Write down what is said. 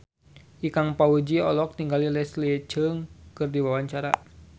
Ikang Fawzi olohok ningali Leslie Cheung keur diwawancara